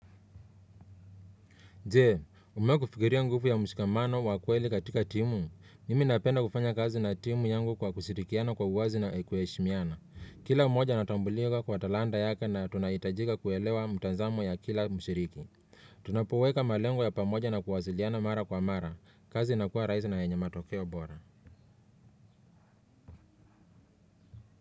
Jee, umewahi kufikiria nguvu ya mshikamano wa kweli katika timu. Mimi napenda kufanya kazi na timu yangu kwa kushirikiana kwa uwazi na kuheshimiana kila moja anatambulika kwa talanta yake na tunaitajika kuelewa mtazamo ya kila mshiriki. Tunapoweka malengo ya pamoja na kuwasiliana mara kwa mara. Kazi inakuwa rahisi na yenye matokeo bora.